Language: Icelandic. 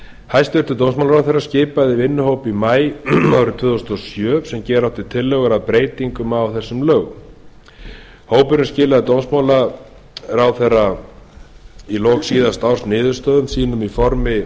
hæstvirtur dómsmálaráðherra skipaði vinnuhóp í maí tvö þúsund og sjö sem gera átti tillögur að breytingu á lögunum hópurinn skilaði dómsmálaráðherra í lok síðasta árs niðurstöðum sínum í formi